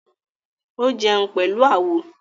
Ó jẹun pẹ̀lú àwo